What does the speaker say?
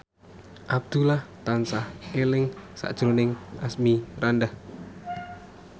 Abdullah tansah eling sakjroning Asmirandah